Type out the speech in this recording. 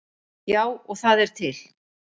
Já, og það er til.